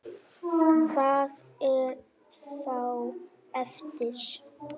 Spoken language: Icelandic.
Hvað er þá eftir?